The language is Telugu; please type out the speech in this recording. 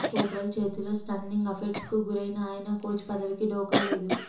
పోర్చుగల్ చేతిలో స్టన్నింగ్ అప్సెట్కు గురైనా ఆయన కోచ్ పదవికి ఢోకాలేదు